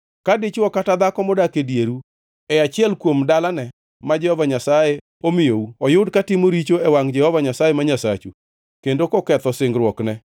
Ka dichwo kata dhako modak e dieru e achiel kuom dalane ma Jehova Nyasaye omiyou oyud katimo richo e wangʼ Jehova Nyasaye ma Nyasachu kendo koketho singruokne,